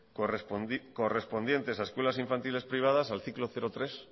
correspondientes a escuelas infantiles privadas al ciclo cero tres